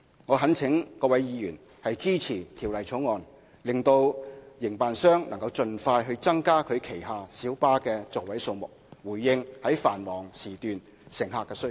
我懇請各位議員支持《條例草案》，讓營辦商能夠盡快增加旗下小巴的座位數目，以回應繁忙時段的乘客需求。